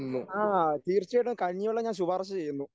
ആ തീർച്ചയായിട്ടും കഞ്ഞിവെള്ളം ഞാൻ ശുപാർശ ചെയ്യുന്നു.